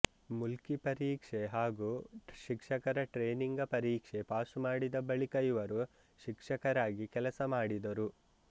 ಮುಲ್ಕಿ ಪರೀಕ್ಷೆ ಹಾಗು ಶಿಕ್ಷಕರ ಟ್ರೇನಿಂಗ ಪರಿಕ್ಷೆ ಪಾಸು ಮಾಡಿದ ಬಳಿಕ ಇವರು ಶಿಕ್ಷಕರಾಗಿ ಕೆಲಸ ಮಾಡಿದರು